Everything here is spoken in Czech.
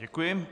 Děkuji.